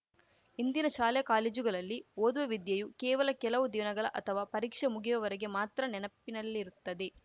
ಇಂದಿನ ಶಾಲಾ ಕಾಲೇಜುಗಳಲ್ಲಿ ಓದುವ ವಿದ್ಯೆಯು ಕೇವಲ ಕೆಲವು ದಿನಗಳ ಅಥವಾ ಪರೀಕ್ಷೆ ಮುಗಿಯುವವರೆಗೆ ಮಾತ್ರ ನೆನಪಿನಲ್ಲಿರುತ್ತದೆ